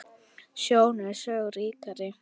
Sjón er sögu ríkari!